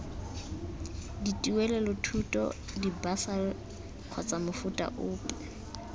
dituelelothuto dibasari kgotsa mofuta ope